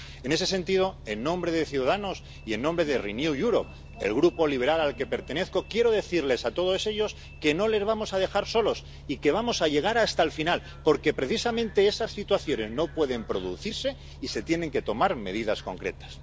En ese sentido, en nombre de Ciudadanos y en nombre de Renew Europe, el grupo liberal al que pertenezco, quiero decirles a todos ellos que no les vamos a dejar solos y que vamos a llegar hasta el final, porque precisamente esas situaciones no pueden producirse y se tienen que tomar medidas concretas.